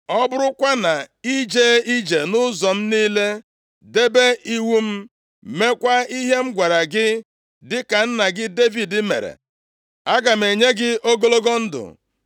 Ọ bụrụkwa na i jee ije nʼụzọ m niile, debe iwu m, meekwa ihe m gwara gị, dịka nna gị Devid mere, aga m enye gị ogologo ndụ.”